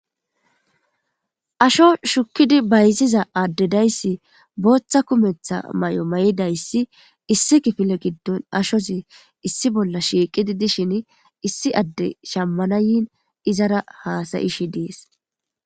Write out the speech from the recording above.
asho shukkidi bayziza addedayssi booththa kumetha may7o may7idayssi issi kifile giddon ashozi issi bolla shiiqidi dishin issi adde shammanayin izara haasayishi dees